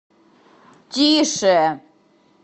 тише